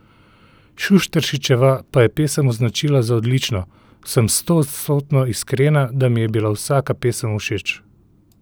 Šušteršičeva pa je pesem označila za odlično: "Sem stoodstotno iskrena, da mi je bila vsaka pesem všeč.